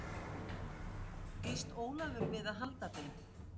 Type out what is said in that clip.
Býst Ólafur við að halda þeim?